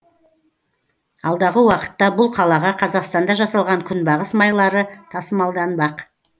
алдағы уақытта бұл қалаға қазақстанда жасалған күнбағыс майлары тасымалданбақ